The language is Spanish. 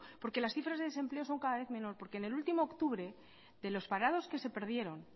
porque las cifras de desempleo son cada vez menor porque en el último octubre de los parados que se perdieron